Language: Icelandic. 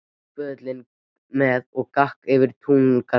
Tak böðulinn með og gakk út fyrir túngarðinn.